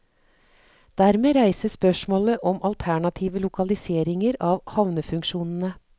Dermed reises spørsmålet om alternative lokaliseringer av havnefunksjonene.